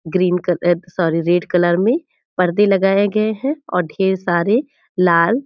green क अ sorry red colour में पर्दे लगाए गए हैं और ढेर सारे लाल --